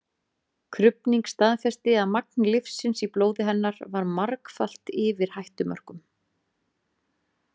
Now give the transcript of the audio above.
Krufning staðfesti að magn lyfsins í blóði hennar var margfalt yfir hættumörkum.